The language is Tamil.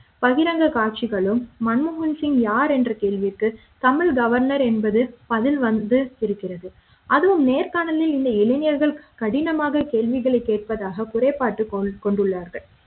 பகிரங்க காட்சிகளும் மன்மோகன் சிங் யார் என்ற கேள்விக்கு தமிழக கவர்னர் என்பது அதில் வந்து இருக்கிறது அதுவும் நேர்காணல் இந்த இளைஞர்கள் கடினமாக கேள்விகளை கேட்பதாக குறைபாட்டு கொண்டுள்ளார்கள்